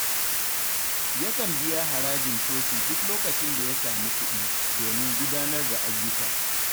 Yakan biya harajin coci duk lokacin da ya samu kuɗi, domin gudanar da ayyuka.